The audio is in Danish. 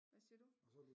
Hvad siger du